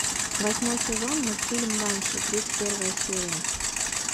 восьмой сезон мультфильм банши тридцать первая серия